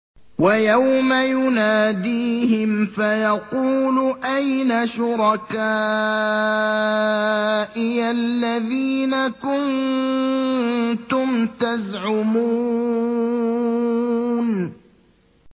وَيَوْمَ يُنَادِيهِمْ فَيَقُولُ أَيْنَ شُرَكَائِيَ الَّذِينَ كُنتُمْ تَزْعُمُونَ